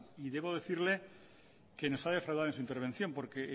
debo decirle que nos ha defraudado en su intervención porque